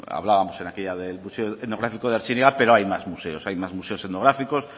hablábamos en aquella del museo etnográfico de artziniega pero hay más museos hay más museos etnográficos